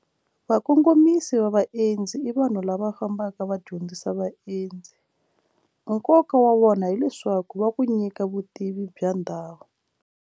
Vakongomisi va vaendzi i vanhu lava fambaka va dyondzisa vaendzi nkoka wa wona hileswaku va ku nyika vutivi bya ndhawu.